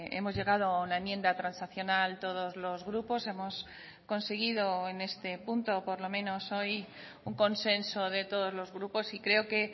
hemos llegado a una enmienda transaccional todos los grupos hemos conseguido en este punto por lo menos hoy un consenso de todos los grupos y creo que